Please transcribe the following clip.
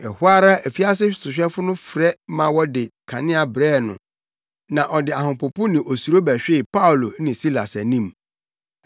Ɛhɔ ara afiase sohwɛfo no frɛ ma wɔde kanea brɛɛ no na ɔde ahopopo ne osuro bɛhwee Paulo ne Silas anim.